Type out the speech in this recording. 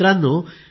मित्रांनो